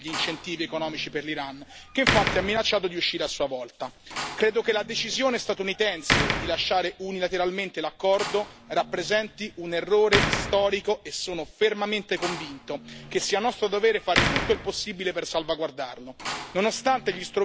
Credo, che la decisione statunitense di lasciare unilateralmente l'accordo rappresenti un errore storico e sono fermamente convinto che sia nostro dovere fare tutto il possibile per salvaguardarlo, nonostante gli strumenti a disposizione forse non siano ancora sufficienti per l'arduo compito.